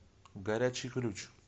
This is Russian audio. горячий ключ